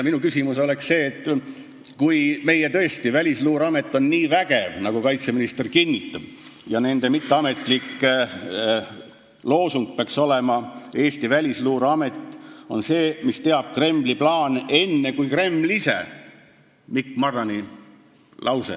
Minu arvamus on see, et kui tõesti meie Välisluureamet on nii vägev, nagu kaitseminister kinnitab, siis peaks nende mitteametlik loosung olema "Eesti Välisluureamet teab Kremli plaane enne kui Kreml ise" – Mikk Marrani lause.